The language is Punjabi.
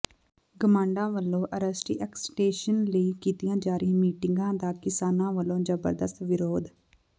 ਗਮਾਡਾ ਵੱਲੋਂ ਐਰੋਸਿਟੀ ਐਕਸਟੈਂਸ਼ਨ ਲਈ ਕੀਤੀਆਂ ਜਾ ਰਹੀਆਂ ਮੀਟਿੰਗਾਂ ਦਾ ਕਿਸਾਨਾਂ ਵੱਲੋਂ ਜ਼ਬਰਦਸਤ ਵਿਰੋਧ